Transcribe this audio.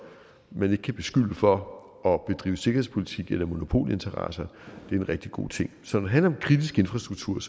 man ikke kan beskylde for at bedrive sikkerhedspolitik eller monopolinteresser er en rigtig god ting så når det handler om kritisk infrastruktur